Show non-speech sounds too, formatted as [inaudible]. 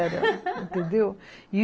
[laughs] Entendeu?